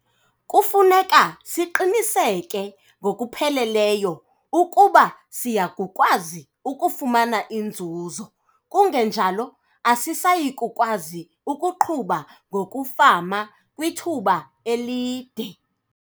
Kufuneka siqiniseke ngokupheleleyo ukuba siya kukwazi ukufumana inzuzo - kungenjalo asisayi kukwazi ukuqhuba ngokufama kwithuba elide.